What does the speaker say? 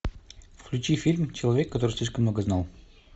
включи фильм человек который слишком много знал